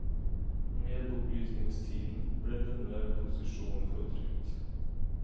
Med opplysningstiden ble denne posisjonen fortrengt.